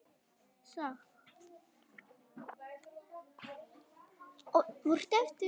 Þetta gæti Jón hafa sagt.